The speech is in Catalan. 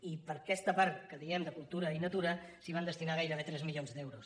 i per a aquesta part que diem de cultura i natura s’hi van destinar gairebé tres milions d’euros